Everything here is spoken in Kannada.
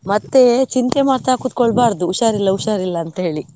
ಮತ್ತೆ ಚಿಂತೆ ಮಾಡ್ತಾ ಕುತ್ಕೊಳ್ಬಾರ್ದು, ಹುಷಾರಿಲ್ಲಾ, ಹುಷಾರಿಲ್ಲಾ ಅಂತ ಹೇಳಿ.